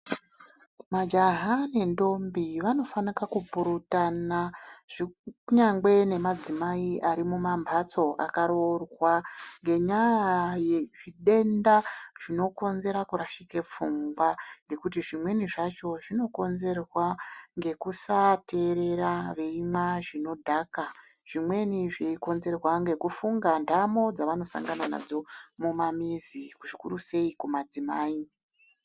Majaha nentombi vanofanika kupurutana kunyangwe nemadzimai arimumambatso akaroorwa ngenyaya yezvitenda zvinokonzera kurashika pfungwa ngekuti zvimweni zvacho zvinokonzerwa ngekusaateerera veimwa zvinodhaka zvimweni zveikonzerwa ngekufunga ndamo dzavanosangana nadzo mumamizi zvikurusei kumadzimai.